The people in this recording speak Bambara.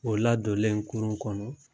O ladɔlen kurun kɔnɔ